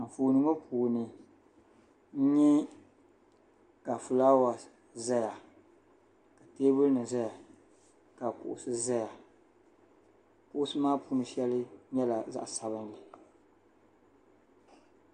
Anfooni ŋɔ puuni n nyɛ ka fulaawa ʒɛya ka teebuli nim ʒɛya ka kuɣusi ʒɛya kuɣusi maa puuni shɛli nyɛla zaɣ sabinli